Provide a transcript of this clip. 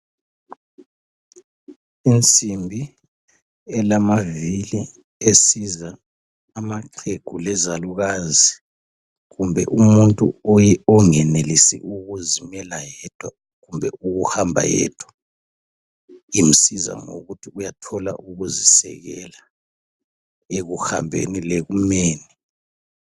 insimbi elamavili esiza amaxhegu lezalukazi kumbe umuntu ongenelisi ukuzimela yedwa kumbe ukuhamba yedwa imsiza ngokuthi uyathola ukuzi sekela ekuhambeni lekumeni